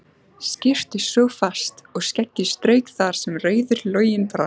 Skyrpti fast og skeggið strauk þar sem rauður loginn brann.